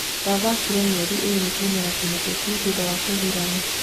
Ndathakirĩ mĩeri ĩrĩ kĩmera kĩhĩtoku thutha wa kũgurara